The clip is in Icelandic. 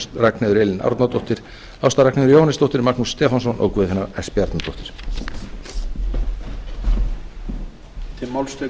ragnheiður elín árnadóttir ásta ragnheiður jóhannesdóttir magnús stefánsson og guðfinna s bjarnadóttir